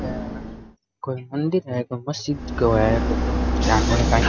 कोई मंदिर है कोई मस्जिद सो है जानो ही काईं।